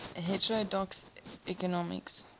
heterodox economics